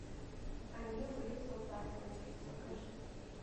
они были солдатами покажи